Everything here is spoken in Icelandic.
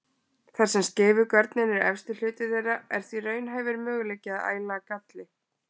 Þar sem skeifugörnin er efsti hluti þeirra er því raunhæfur möguleiki á að æla galli.